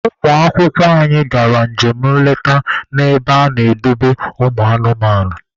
Ụmụ akwụkwọ anyị gara njem nleta na ebe ana-edobe ụmụ anụmanụ.